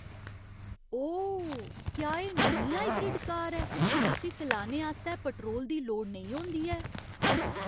ओह् ! क्या एह् नमीं हाइब्रिड कार ऐ जिस्सी चलाने आस्तै पैट्रोल दी लोड़ नेईं होंदी ऐ?